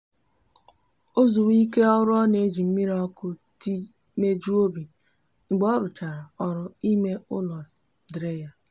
ozuwe ike oru o n'eji miri oku tii mejuo obi mgbe oruchara oru ime ulo diri ya